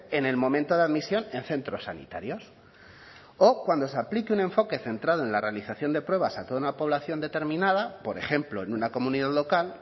en el momento de admisión en centros sanitarios o cuando se aplique un enfoque centrado en la realización de pruebas a toda una población determinada por ejemplo en una comunidad local